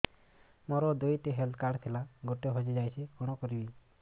ମୋର ଦୁଇଟି health card ଥିଲା ଗୋଟିଏ ହଜି ଯାଇଛି କଣ କରିବି